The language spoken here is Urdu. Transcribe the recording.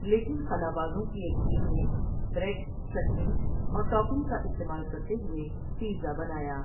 لیکن خلابازوں کی ایک ٹیم نے بریڈ، چٹنی اور ٹاپنگ کا استعمال کرتےہوئے پیزا بنایا۔